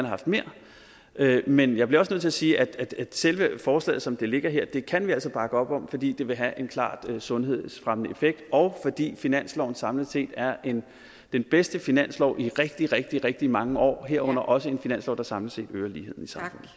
haft mere med men jeg bliver også nødt til at sige at selve forslaget som det ligger her kan vi altså bakke op om fordi det vil have en klart sundhedsfremmende effekt og fordi finansloven samlet set er den bedste finanslov i rigtig rigtig rigtig mange år herunder også en finanslov der samlet set øger ligheden